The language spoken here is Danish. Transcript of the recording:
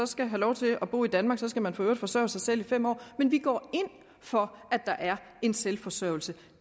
skal have lov til at bo i danmark så skal man for øvrigt forsørge sig selv i fem år men vi går ind for at der er en selvforsørgelse